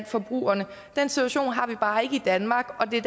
forbrugerne den situation har vi bare ikke i danmark og det